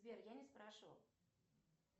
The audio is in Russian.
сбер я не спрашивал